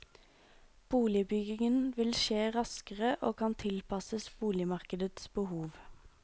Boligbyggingen vil skje raskere og kan tilpasses boligmarkedets behov.